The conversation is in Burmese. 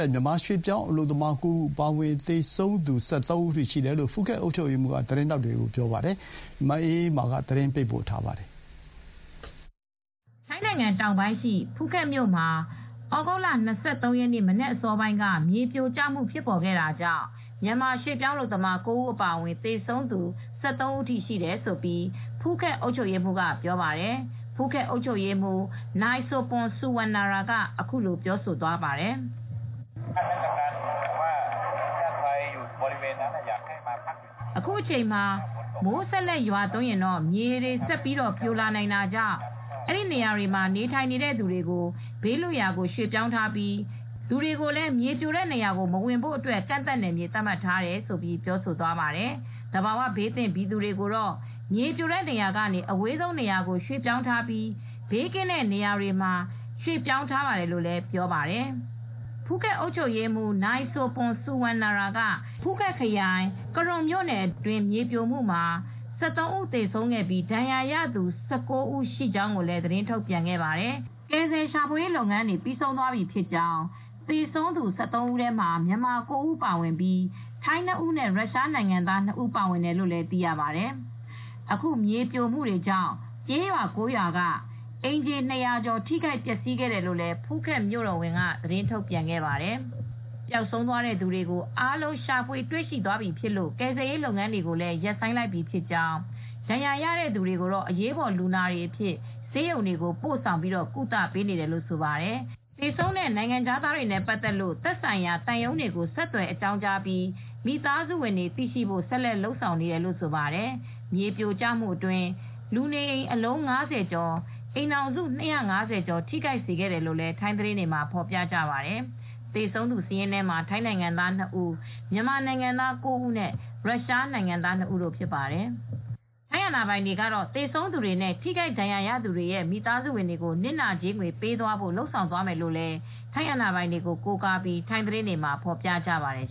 င့် မြန်မာရွှေ့ပြောင်း အလုပ်သမား ၉ ဦး အပါအဝင် သေဆုံးသူ ၁၃ ဦးထိရှိတယ်လို့ ဖူးခက်အုပ်ချူပ်ရေးမှူးက သတင်းထောက်တွေကိုပြောပါတယ်။ ဒီသတင်းကို ဗွီအိုအေ သတင်းထောက် မအေးအေးမာကသတင်းပေးပို့ထားပါတယ်။ ထိုင်းနိုင်ငံတောင်ပိုင်းရှိ ဖူးခက်မြို့မှာ ဩဂုတ်လ ၂၃ ရက်မနက်အစောပိုင်းက မြေပြိုကျခဲ့တာကြောင့် မြန်မာ ရွှေ့ပြောင်းအလုပ်သမား ၉ ဦးအပါအဝင် သေဆုံး ၁၃ ဦးထိရှိတယ်လို့ ဖူးခက် အုပ်ချူပ်ရေးမှူးက ပြောပါတယ်။ “ဖူးခက်အုပ်ချူပ်ရေးမှူး နိုင်ဆိုပွန် ဆူ၀မ်နာရာ က အခုလိုပြောပါတယ်။ အခုအချိန်မှာ မိုးဆက်ပြီးရွာရင် မြေပြို ဆင်းလာနိုင်တာကြောင့် နေရာမှာနေထိုင်နေတဲ့သူတွေကို ဘေးလွတ်ရာ ရွှေ့ပြောင်းပေးထားပြီး လူတွေကိုလည်း မြေပြိုတဲ့နေရာကို မဝင်ရဘူးဆိုပြီး ကန့်သတ်နယ်မြေသတ်မှတ်ထားပါတယ်။ သဘာ၀ဘေးသင့်ပြည်သူတွေကိုတော့ မြေပြိုတဲ့နေရာကနေ ဘေးရန်ကင်းရှင်းတဲ့ အဝေးဆုံးနေရာကို ရွှေ့ပြောင်းပေးထားပါတယ်။” လို့ ထိုင်းဘာသာနဲ့ပြောသွားပါတယ်။ ဖူးခက်အုပ်ချူပ်ရေးမှူး Mr. Sopon Suwannara နိုင် ဆိုပွန် ဆူ၀မ်နာရာ က ကရွန်မြို့နယ်အတွင်း မြေပြိုရာမှာ ၁၃ ဦး သေဆုံးခဲ့ပြီးဒဏ်ရာရသူ ၁၉ ဦးရှိကြောင်းကိုလည်း သတင်းထုတ်ပြန်ခဲ့ပါတယ်၊ ကယ်ဆယ်ရှာဖွေရေးလုပ်ငန်းတွေ ပြီးဆုံးသွားပြီဖြစ်ကြောင်း သေဆုံးသူ ၁၃ ဦးမှာ မြန်မာ ၉ ဦး ပါ၀င်ပြီး ထိုင်းနှစ်ဦးနဲ့ ရုရှားနိုင်ငံသား နှစ်ဦးပါဝင်တယ်လို့ဆိုပါတယ်။ အခု မြေပြိုမှုကြောင့် ကျေးရွာ ရွာက အိမ်ခြေ ၂၀၀ ကျော် ထိခိုက်ပျက်စီးခဲ့တယ်လို့လည်း ဖူးခက်မြို့တော်ဝန်က ထုတ်ပြန်ခဲ့ပါတယ်။ ပျောက်ဆုံးသွားတဲ့သူတွေ အားလုံး ရှာဖွေတွေ့ရှိသွားပြီဖြစ်လို့ ရှာဖွေရေးလုပ်ငန်းတွေကိုရပ်ဆိုင်းလိုက်ပြီ ဖြစ်ကြောင်း၊ ဒဏ်ရာရတဲ့သူတွေကို အရေးပေါ်လူနာတွေအဖြစ် ဆေးရုံတွေကိုပို့ဆောင် ကုသပေးနေပါတယ်။ သေဆုံးတဲ့နိုင်ငံခြားသားတွေနဲ့ပတ်သက်လို့ သက်ဆိုင်ရာ သံရုံးတွေကို ဆက်သွယ်အကြောင်းကြားပြီး မိသားစုတွေသိရှိဖို့ ဆက်လက်လုပ်ဆောင်နေတယ်လို့ ဆိုပါတယ်။ မြေပြိုကျမှုအတွင်း လူနေအိမ် အလုံး ၅၀ ကျော်၊ အိမ်ထောင်စု ၂၅၀ ကျော် ထိခိုက်စေခဲ့တယ်လို့ ထိုင်းသတင်း တွေမှာ ဖော်ပြကြပါတယ်။ ထိုင်းအာဏာပိုင်တွေကတော့ သေဆုံးသူတွေနဲ့ ထိခိုက်သူတွေရဲ့ မိသားစုတွေကို နစ်နာကြေးငွေပေးသွားမှာဖြစ်တယ်လို့ ထိုင်းအာဏာပိုင်တွေကို ကိုးကားပြီး ထိုင်းသတင်းတွေမှာ ဖော်ပြကြပါတယ်